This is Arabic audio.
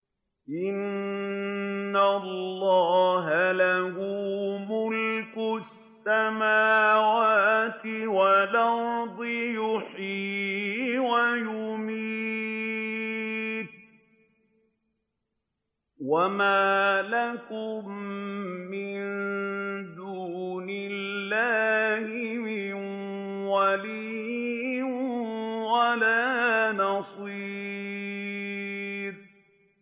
إِنَّ اللَّهَ لَهُ مُلْكُ السَّمَاوَاتِ وَالْأَرْضِ ۖ يُحْيِي وَيُمِيتُ ۚ وَمَا لَكُم مِّن دُونِ اللَّهِ مِن وَلِيٍّ وَلَا نَصِيرٍ